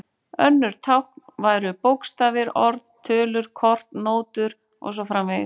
Önnur tákn væru bókstafir, orð, tölur, kort, nótur og svo framvegis.